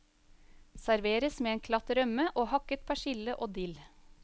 Serveres med en klatt rømme og hakket persille og dill.